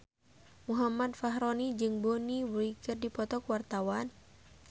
Muhammad Fachroni jeung Bonnie Wright keur dipoto ku wartawan